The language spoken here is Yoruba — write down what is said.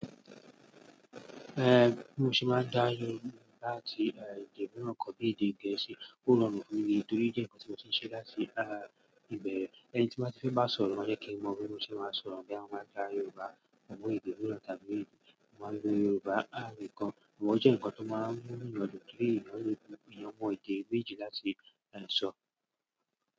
Ehn mo sì máa dá yín mọ láti èdè míràn kan bí i èdè gẹ̀ẹ́sì. O ròwù fi mí torí o je nnkan tí mo ti se láti ìbèrè. Ẹni tí máa fẹ́ bá sọ̀rọ̀ máa jẹ́ kí wọ́n mọ bí mo ṣe máa sọ̀rọ̀ boya mo ma ká Yorùbá àbi èdè mìíràn tàbí èdè àwọn ilé Yorùbá. À mi kan wọ̀ jẹ́ nǹkan tó máa mú nu yọ̀ dun pe ì yo mọn ede méjì láti sọ.